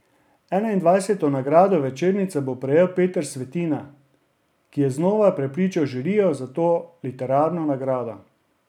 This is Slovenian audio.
Enaindvajseto nagrado večernica bo prejel Peter Svetina, ki je znova prepričal žirijo za to literarno nagrado.